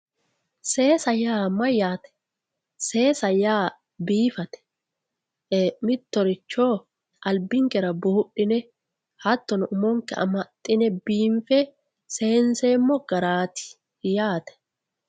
Seesa yaa mayyate, seesa yaa biifate,e"ee mittoricho albinkera buudhine hattono umonke amaxine biinfe seenseemmo garati yaate.